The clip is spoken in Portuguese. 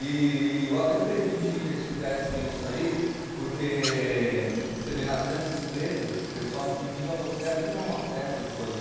E eu até permiti que eles fizessem isso aí, porque você vê, nas grandes empresas, o pessoal incentiva você a tirar uma cesta depois de um